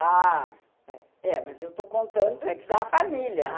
Ah, é, mas eh eu estou contando da família